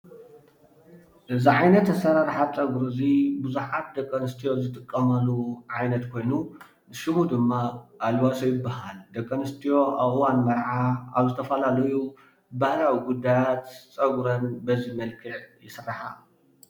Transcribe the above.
እዚ ዓይነት ኣስራርሓ ፀጉሪ እዙይ ቡዙሓት ደቂ ኣንስትዮ ዝጠቀማሉ ዓይነት ኾይኑ ሽሙ ድም ኣልባሶ ይበሃ። ደቂ ኣንስትዮ ኣብ እዋን መርዓ ኣብ ዝተፋላለዩ ባህላዊ ጉድያት ፀጉረን በዚ መልክዕ ይስራሓ።